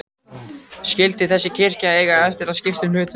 Skyldi þessi kirkja eiga eftir að skipta um hlutverk?